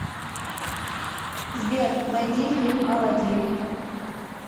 сбер найди фильм аладин